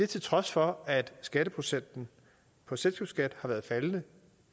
til trods for at skatteprocenten på selskabsskat har været faldende